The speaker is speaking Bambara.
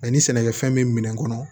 Ani sɛnɛkɛfɛn be minɛn kɔnɔ